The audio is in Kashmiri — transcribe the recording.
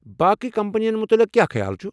باقی کمپنین متعلق کیٚا خیال چھٗ؟